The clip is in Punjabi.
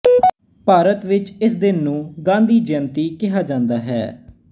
ਭਾਰਤ ਵਿੱਚ ਇਸ ਦਿਨ ਨੂੰ ਗਾਂਧੀ ਜੈਅੰਤੀ ਕਿਹਾ ਜਾਂਦਾ ਹੈ